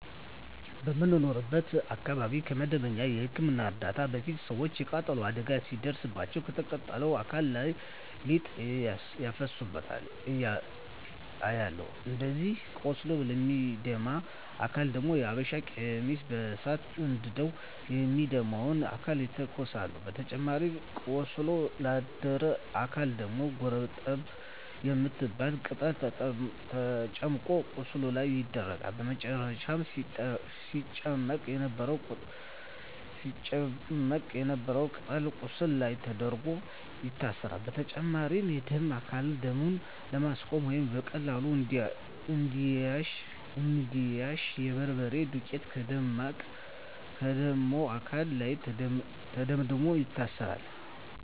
በምኖርበት አካባቢ ከመደበኛ የህክምና እርዳታ በፊት ሰወች የቃጠሎ አደጋ ሲደርስባቸው ከተቃጠለው አካል ላይ ሊጥ ሲያፈሱባቸው አያለሁ። እንዲሁም ቆስሎ ለሚደማ አካል ደግሞ የሀበሻ ቀሚስ በሳት አንድደው የሚደማውን አካል ይተኩሳሉ በተጨማሪም ቆስሎ ላደረ አካል ደግሞ ጎርጠብ የምትባል ቅጠል ተጨምቆ ቁስሉ ላይ ይደረጋል በመጨረም ሲጨመቅ የነበረው ቅጠል ቁስሉ ላይ ተደርጎ ይታሰራል። በተጨማሪም የደማ አካልን ደሙን ለማስቆመረ ወይም በቀላሉ እንዲያሽ የበርበሬ ዱቄት ከደማው አካል ላይ ተደምድሞ ይታሰራል።